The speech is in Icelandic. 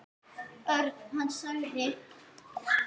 Örn. Hann sagði.